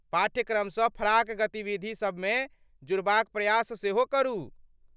पाठ्यक्रमसँ फराक गतिविधि सबमे जुड़बाक प्रयास सेहो करू।